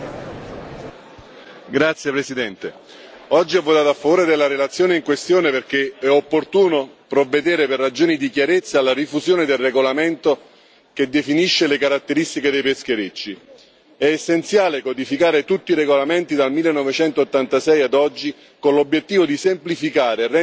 Signora Presidente, onorevoli colleghi, oggi ho votato a favore della relazione in questione perché è opportuno provvedere, per ragioni di chiarezza, alla rifusione del regolamento che definisce le caratteristiche dei pescherecci. È essenziale codificare tutti i regolamenti dal 1986 ad oggi, con l'obiettivo di semplificare